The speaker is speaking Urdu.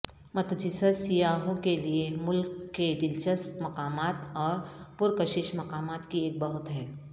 متجسس سیاحوں کے لیے ملک کے دلچسپ مقامات اور پرکشش مقامات کی ایک بہت ہے